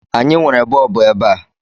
Anyị nwere bọọbụ ebe a